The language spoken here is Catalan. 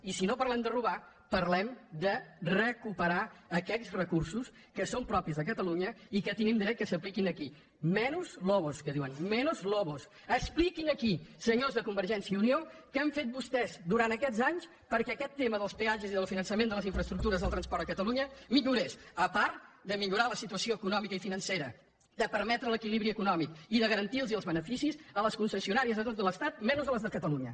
i si no parlem de robar parlem de recuperar aquells recursos que són propis de catalunya i que tenim dret que s’apliquin aquí menys lobosexpliquin aquí senyors de convergència i unió què han fet vostès durant aquests anys perquè aquest tema dels peatges i del finançament de les infraestructures del transport a catalunya millorés a part de millorar la situació econòmica i financera de permetre l’equilibri econòmic i de garantir els beneficis de les concessionàries de tot l’estat menys a les de catalunya